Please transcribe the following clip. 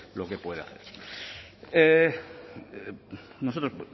lo que puede hacer nosotros